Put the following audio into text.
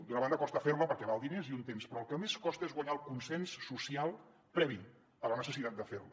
d’una banda costa fer la perquè val diners i un temps però el que més costa és guanyar el consens social previ a la necessitat de fer la